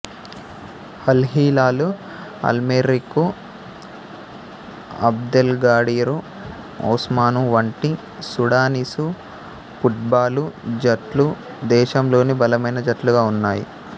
Al Hilal Al Merrikh Abdelgadir Osman వంటి Sudanese football జట్లు దేశంలోని బలమైన జట్లుగా ఉన్నాయి